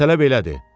Məsələ belədir: